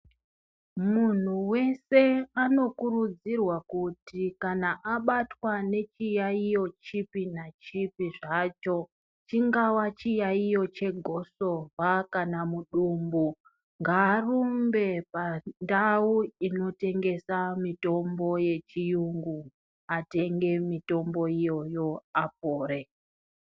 Munhu wese anokurudzirwa kuti kana abatwa nechiyaiyo chipi nachipi zvacho, chingava chiyaiyo chegosorwa kana mudumbu, ngaarumbe pandau inotengesa mitombo yechiyungu atenge mitombo iyoyo apore.